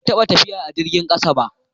Ban taɓa tafiya a jirgin ƙasa ba.